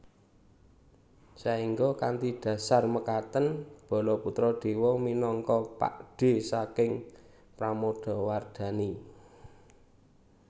Saengga kanthi dhasar mekaten Balaputradewa minangka pakdhe saking Pramodawardhani